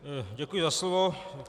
Děkuji za slovo.